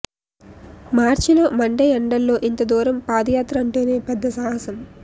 మార్చిలో మండే ఎండల్లో ఇంత దూరం పాదయాత్ర అంటేనే పెద్ద సాహసం